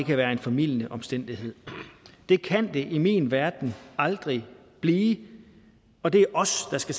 det være en formildende omstændighed det kan det i min verden aldrig blive og det er os der skal